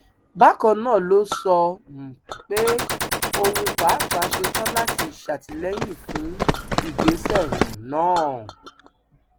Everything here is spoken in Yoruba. bákan náà ló sọ um pé òun pàápàá ṣetán láti ṣàtìlẹyìn fún ìgbésẹ um náà